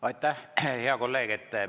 Aitäh, hea kolleeg!